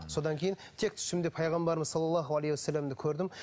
содан кейін тек түсімде пайғамбарымыз салаллаху алейхи уассаламды көрдім